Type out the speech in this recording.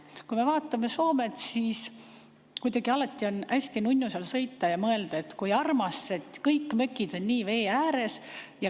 Kui me vaatame Soomet, siis alati on kuidagi hästi nunnu seal sõita ja mõelda, et kui armas, kõik mökki'd on nii vee ääres.